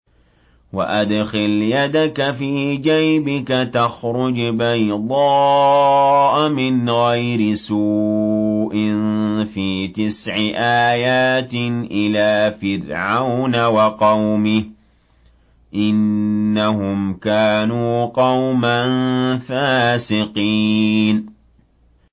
وَأَدْخِلْ يَدَكَ فِي جَيْبِكَ تَخْرُجْ بَيْضَاءَ مِنْ غَيْرِ سُوءٍ ۖ فِي تِسْعِ آيَاتٍ إِلَىٰ فِرْعَوْنَ وَقَوْمِهِ ۚ إِنَّهُمْ كَانُوا قَوْمًا فَاسِقِينَ